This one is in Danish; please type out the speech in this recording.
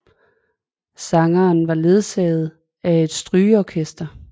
Sangeren var ledsaget af et strygeorkester